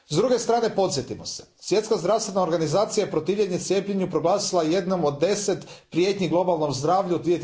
S druge strane, podsjetimo se, Svjetska zdravstvena organizacija je protivljenje cijepljenju proglasila jednu od deset prijetnji globalnom zdravlju